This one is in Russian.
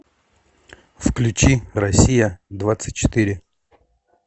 включи россия двадцать четыре